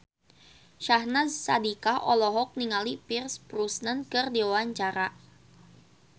Syahnaz Sadiqah olohok ningali Pierce Brosnan keur diwawancara